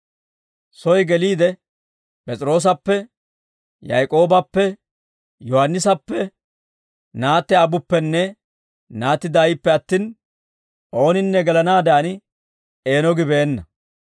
Soy geliide: P'es'iroosappe, Yaak'oobappe, Yohaannisappe, naatti aabbuppenne naatti daayippe attin, ooninne gelanaaddan eeno gibeenna.